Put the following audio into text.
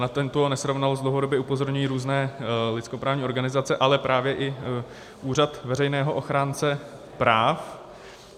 Na tuto nesrovnalost dlouhodobě upozorňují různé lidskoprávní organizace, ale právě i Úřad veřejného ochránce práv.